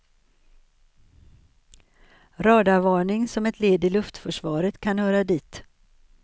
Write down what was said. Radarvarning som ett led i luftförsvaret kan höra dit.